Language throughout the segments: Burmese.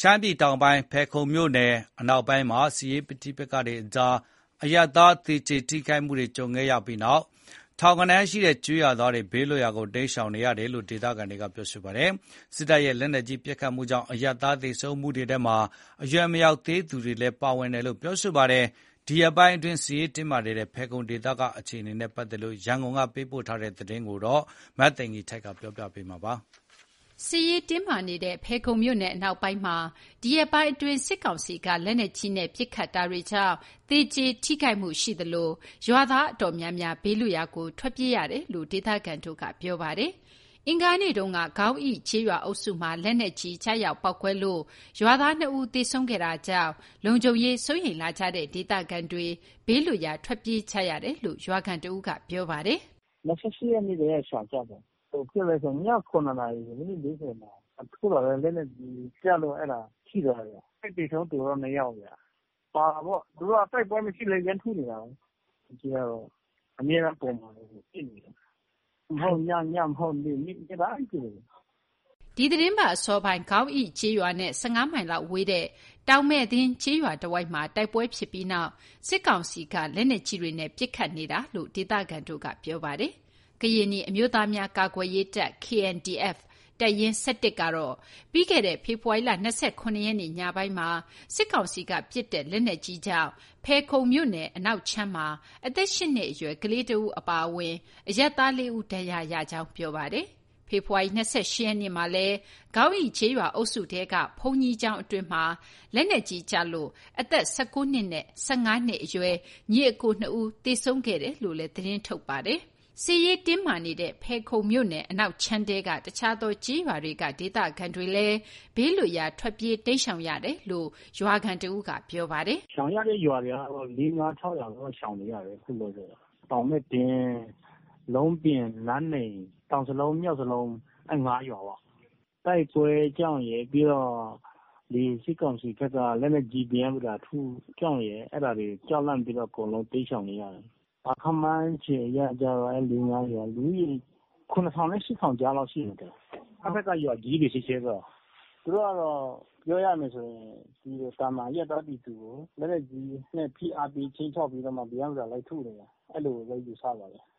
ရှမ်းပြည်တောင်ပိုင်း ဖယ်ခုံမြို့နယ် အနောက်ပိုင်းမှာ စစ်ရေး ပဋိပက္ခတွေကြောင့် အရပ်သား သေကျေထိခိုက်မှုတွေ ကြုံခဲ့ရပြီးနောက် ထောင်ဂဏန်းရှိတဲ့ ကျေးရွာသားတွေ ဘေးလွတ်ရာ တိမ်းရှောင်နေရတယ်လို့ ဒေသခံတွေက ပြောပါတယ်။ စစ်တပ်ရဲ့ လက်နက်ကြီး ပစ်ခတ်မှုကြောင့် အရပ်သား သေဆုံးမှုတွေထဲမှာ အရွယ်မရောက်သေးသူတွေလည်း ပါဝင်တယ်လို့ ပြောပါတယ်။ ဒီရက်ပိုင်းအတွင်း စစ်ရေးတင်းမာနေတဲ့ ဖယ်ခုံဒေသက အခြေအနေနဲ့ပတ်သက်လို့ ရန်ကုန်က သတင်းပေးပို့ထားတာကို မသိင်္ဂီထိုက် ပြောပြပေးမှာ ဖြစ်ပါတယ်။ စစ်ရေးတင်းမာနေတဲ့ ဖယ်ခုံမြို့နယ် အနောက်ပိုင်းမှာ ဒီရက်ပိုင်းအတွင်း စစ်ကောင်စီက လက်နက်ကြီးနဲ့ ပစ်ခတ်မှုတွေ ရှိနေတာကြောင့် သေကျေထိခိုက်မှုတွေ ရှိနေသလို၊ ရွာသား တော်တော်များများ ဘေးလွတ်ရာကို ထွက်ပြေးနေရတယ်လို့ ဒေသခံတွေက ပြောပါတယ်။ အင်္ဂါနေ့တုန်းက ခေါင်းအိ ကျေးရွာအုပ်စုမှာ လက်နက်ကြီး ကျရောက်ပေါက်ကွဲလို့ ရွာသား ၂ ဦး သေဆုံးခဲ့တာကြောင့် လုံခြုံရေး စိုးရိမ်လာကြတဲ့ ဒေသခံတွေ ဘေးလွတ်ရာ ထွက်ပြေးနေကြရတယ်လို့လည်း ရွာခံတစ်ဦးက ပြောပါတယ်။ “၂၈ ရက်နေ့ကတည်းက ရှောင်ကြတယ်။ ဘာဖြစ်လဲဆိုရင် ည ၇ နာရီ မိနစ် ၄၀ မှာ ထုလာတဲ့ လက်နက်ကြီးကျလို့ အဲ့ဒါ ထိထားတယ် ထိခိုက် သေဆုံးသူက ၂ ယောက်ဗျ။ ဟိုဟာပေါ့ သူတို့က တိုက်ပွဲမရှိလည်း ရမ်းထုနေတာပဲ။ လက်နက်ကြီးကတော့ အမြဲတမ်း ပုံမှန်ပဲကို ပစ်နေတာ ည ညမဟုတ် နေ့ နေ့တိုင်းပစ်တယ်။” ဒီသီတင်းပတ် အစောပိုင်းမှာ ခေါင်းအိ ကျေးရွာနဲ့ ၁၅ မိုင်လောက်ဝေးတဲ့ တောင်မယ့်သင်း ကျေးရွာတဝိုက်မှာ တိုက်ပွဲဖြစ်ပြီးနောက် စစ်ကောင်စီဘက်က လက်နက်ကြီးတွေနဲ့ ပစ်ခတ်နေတာလို့လည်း ဒေသခံတွေက ပြောပါတယ်။ ကရင်နီအမျိုးသားများ ကာကွယ်ရေးတပ်(KNDF) တပ်ရင်း ၁၁ ကတော့ ပြီးခဲ့တဲ့ ဖေဖော်ဝါရီလ ၂၇ ရက်နေ့ ညပိုင်းမှာ စစ်ကောင်စီက ပစ်ခတ်လိုက်တဲ့ လက်နက်ကြီးကြောင့် ဖယ်ခုံမြို့နယ် အနောက်ခြမ်းမှာ အသက် ၈ နှစ်အရွယ် ကလေးတဦး အပါအဝင် အရပ်သား ၄ ဦး ဒဏ်ရာရခဲ့တယ်လို့ ပြောပါတယ်။ ဖေဖော်ဝါရီ ၂၈ ရက်နေ့မှာလည်း ခေါင်းအိကျေးရွာအုပ်စုထဲက ဘုန်းကြီးကျောင်းအတွင်းမှာ လက်နက်ကြီးကျလို့ အသက် (၁၉)နှစ်နဲ့ အသက်(၁၅)နှစ်အရွယ် ညီအစ်ကို နှစ်ဦး သေဆုံးခဲ့ကြောင်း သတင်းထုတ်ပြန် ထားတာပါ။ စစ်ရေးတင်းမာမှုတွေ ကြုံနေရတဲ့ ဖယ်ခုံမြို့နယ် အနောက်ခြမ်း တခြား ကျေးရွာတွေက ဒေသခံတွေဟာလည်း ဘေးလွတ်ရာ ထွက်ပြေး တိမ်းရှောင်နေရတယ်လို့ ရွာခံတစ်ဦးက ပြောပါတယ်။ “ရှောင်နေရတဲ့ ရွာတွေကတော့ ၄ ၊ ၅ ၊ ၆ ရွာတော့ ရှောင်နေရတယ်။ အခုလောလောဆယ်တော့ တောင်မဲ့သင်း၊ လုံပြင်၊ လမ်းနိမ်၊ တောင်ဇလုံး၊ မြောက်ဇလုံး အဲ့ ငါးရွာပေါ့၊ တိုက်ပွဲကြောင့်ရယ် ပြီးတော့ ဒီစစ်ကောင်စီဘက်က လက်နက်ကြီး ပရမ်းပတာ ထုတာကြောင့်ရယ် အဲ့ဒါတွေကြောင့် လန့်ပြီးတော့ အကုန်လုံး တိမ်းရှောင်နေရတာ။ ခန့်မှန်းခြေအရ အဲ့ ၄ ၊ ၅ ရွာလုံး လူဦးရေ (၇,၀၀၀)နဲ့ (၈,၀၀၀) ကြားလောက်ရှိတယ်။ အဲ့ဘက်က ရွာကြီးတွေပဲ ဆိုတော့။ (စစ်ကောင်စီတပ်) သူတို့ကတော့ ပြောရမယ်ဆိုရင် ဒီ သာမန်အရပ်သားပြည်သူကို လက်နက်ကြီးနဲ့ ဖိအားပေးပြီး ခြိမ်းခြောက်ပြီးတော့မှ ပရမ်းပတာ လိုက်ထုနေတာ အဲ့လိုပဲ ယူဆပါတယ်။”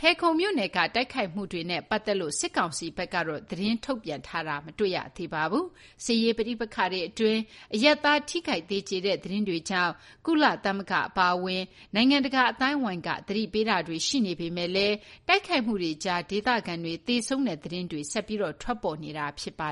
ဖယ်ခုံမြို့နယ်က တိုက်ခိုက်မှုတွေနဲ့ ပတ်သက်လို့ စစ်ကောင်စီဖက်က သတင်းထုတ်ပြန်တာတော့ မရှိသေးပါဘူး။ စစ်ရေး ပဋိပက္ခတွေအတွင်း အရပ်သားတွေ ထိခိုက်သေကျေတဲ့ သတင်းတွေကြောင့် ကုလသမဂ္ဂအပါအဝင် နိုင်ငံတကာ အသိုင်းအဝိုင်းက သတိပေးတာတွေ ရှိနေပေမဲ့လည်း တိုက်ခိုက်မှုတွေကြား ဒေသခံတွေ သေဆုံးတဲ့ သတင်းတွေ ဆက်လက် ထွက်ပေါ်နေတာ ဖြစ်ပါ